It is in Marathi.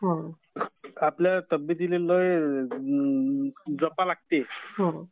आपल्या तब्येतीला लै जपाय लागते.